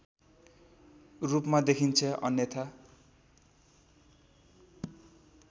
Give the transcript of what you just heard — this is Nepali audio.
रूपमा देखिन्छ अन्यथा